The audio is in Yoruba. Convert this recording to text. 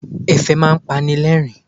Ẹ̀fẹ̀ máa ń pani lẹ́rìn-ín.